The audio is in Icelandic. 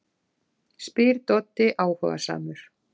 spyr Doddi áhugasamur.